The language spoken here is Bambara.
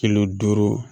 Kilo duuru